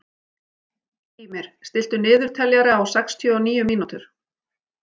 Gýmir, stilltu niðurteljara á sextíu og níu mínútur.